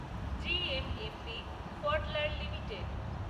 GMMP Pfaudler limited